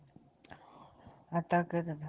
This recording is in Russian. а так этот